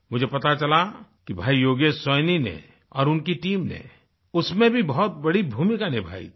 मुझे पता चला भई योगेश सैनी ने और उनकी टीम ने उसमें भी बहुत बड़ी भूमिका निभाई थी